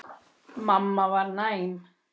Mamma var næm.